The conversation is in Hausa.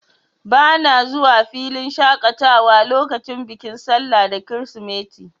Bana zuwa filin shaƙatawa lokacin bikin sallah da kirisimeti.